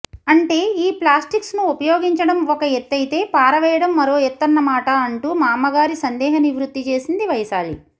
అంటే ఈ ప్లాస్టిక్స్ను ఉపయోగించడం ఒక ఎత్తయితే పారవేయడం మరో ఎత్తన్నమాట అంటూ మామ్మగారి సందేహ నివృత్తి చేసింది వైశాలి